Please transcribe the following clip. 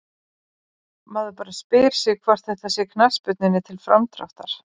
Maður bara spyr sig hvort þetta sé knattspyrnunni til framdráttar?